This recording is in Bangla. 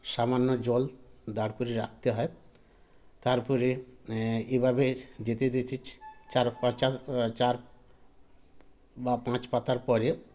সামান্য জল দাঁড় করে রাখতে হয় তারপরে এ এভাবে যেতে যেচেছ চার পাচার আ চার বা পাঁচ পাতার পরে